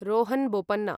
Rohan Bopanna